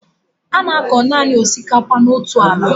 A na-akọ nanị osikapa n'otu ala